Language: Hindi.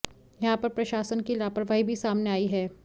यहां पर प्रशासन की लापरवाही भी सामने आई है